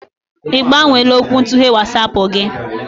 Ibgbanweela okwuntughe WatsAapụ gị?